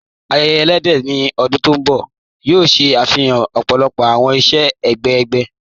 Àyẹ̀yẹ̀ ẹ̀lẹ́dẹ̀ ní ọ̀dún tó nbọ̀ yóò ṣẹ afihàn ọ̀pọ̀lọ̀pọ̀ awọn iṣẹ̀ ẹgbẹ̀ ègún.